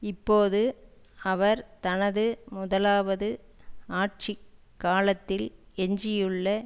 இப்போது அவர் தனது முதலாவது ஆட்சி காலத்தில் எஞ்சியுள்ள